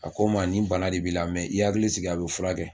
A ko n ma nin bana in de b'i la i hakili sigi a bɛ furakɛ